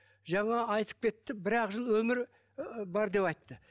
жаңа айтып кетті бір ақ жыл өмірі ы бар деп айтты